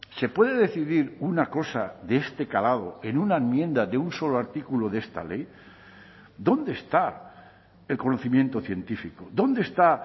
se puede decidir una cosa de este calado en una enmienda de un solo artículo de esta ley dónde está el conocimiento científico dónde está